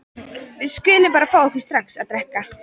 Við skulum bara fá okkur strax að drekka.